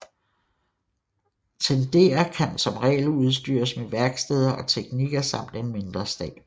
Tendere kan som regel udstyres med værksteder og teknikere samt en mindre stab